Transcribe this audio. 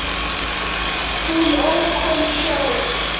Hún ók honum sjálf.